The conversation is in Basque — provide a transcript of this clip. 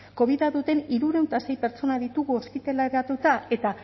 kobida duten hirurehun eta sei pertsonak ditugu ospitaleratuta eta